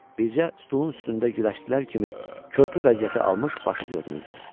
Bircə stolun üstündə güləşçilər kimi körpü vəziyyəti almış başı görünürdü.